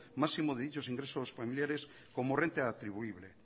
máximo de dichos ingresos familiares como renta atribuible